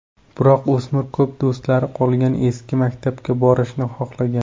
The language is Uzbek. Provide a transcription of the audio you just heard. Biroq o‘smir ko‘p do‘stlari qolgan eski maktabga borishni xohlagan.